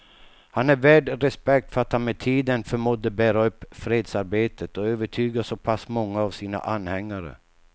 Han är värd respekt för att han med tiden förmådde bära upp fredsarbetet och övertyga så pass många av sina anhängare.